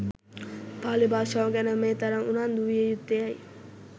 පාලි භාෂාව ගැන මේ තරම් උනන්දු විය යුත්තේ ඇයි?